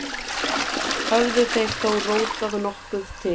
Höfðu þeir þó rótað nokkuð til